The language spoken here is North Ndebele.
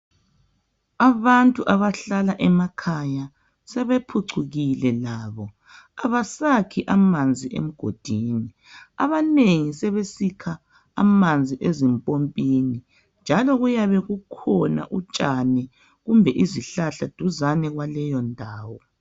Abantu abahlala emakhaya sebephucukile labo abasakhi amanzi emgodini. Abanengi sebesikha amanzi ezimpompini njalo kuyabe kukhona utshani kumbeni izihlahla duzane kwaleyo ndawo.